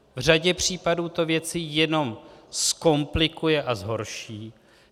V řadě případů to věci jenom zkomplikuje a zhorší.